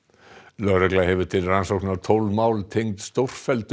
lögregla hefur til rannsóknar tólf mál tengd stórfelldum